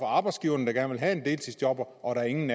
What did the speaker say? arbejdsgivere der gerne vil have en deltidsjobber og hvor ingen